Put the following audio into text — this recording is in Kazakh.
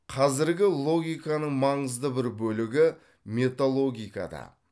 қазіргі логиканың маңызды бір бөлігі металогикада